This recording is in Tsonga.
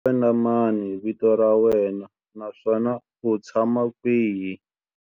Xana hi wena mani vito ra wena naswona u tshama kwihi?